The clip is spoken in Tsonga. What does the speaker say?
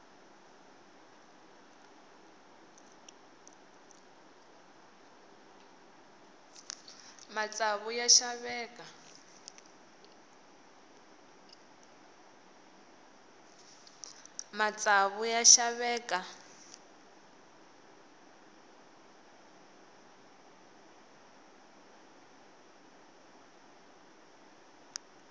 matsavu ya xaveka